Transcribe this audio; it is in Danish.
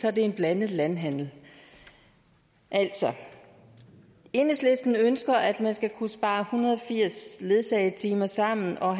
er det en blandet landhandel altså enhedslisten ønsker at man skal kunne spare en hundrede og firs ledsagetimer sammen og